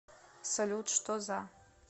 салют что за